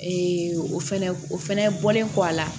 o fɛnɛ o fɛnɛ bɔlen kɔ a la